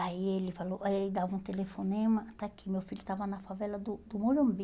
Aí ele falou, aí ele dava um telefonema, está aqui, meu filho estava na favela do do Morumbi.